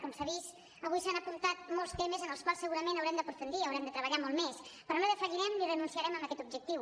com s’ha vist avui s’han apuntat molts temes en els quals segurament haurem d’aprofundir i haurem de treballar molt més però no defallirem ni renunciarem a aquest objectiu